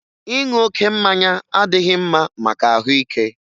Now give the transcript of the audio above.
Ịṅụ oké mmanya adịghị mma maka ahụike